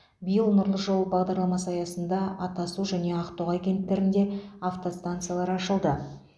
биыл нұрлы жол бағдарламасы аясында атасу және ақтоғай кенттерінде автостанциялар ашылды